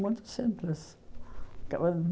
Muito simples.